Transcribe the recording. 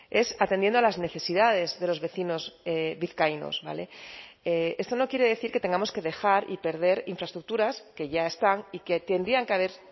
es atendiendo a las necesidades de los vecinos vizcaínos esto no quiere decir que tengamos que dejar y perder infraestructuras que ya están y que tendrían que haber